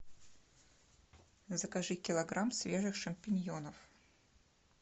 закажи килограмм свежих шампиньонов